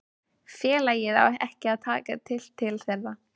félagið á ekki að taka tillit til þeirra.